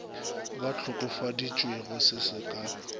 ba hlokofaditšwego se se ka